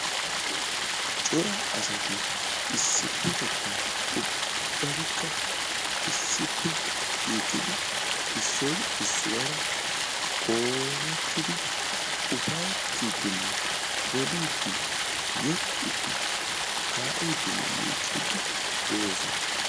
Cora asati issipetettan ubbaykka issippe shiiqidi issoy issuwara qoomettidi ufayttidinne boliiddi yexxiiddi kaa'iidinne miicciiDdi de'osona.